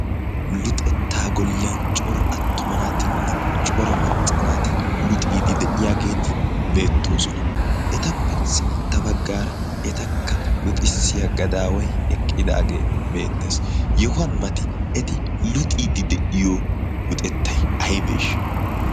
luxettaa golliyan cora attumanaatinne cora maccanaati luxiidi de7iyaageeti beettoosona etappe sintta baggaara etakka luxissiya gadaawai eqqidaagee beettees yohuwan mati eti luxiidi de7iyo luxettai aibeeshsha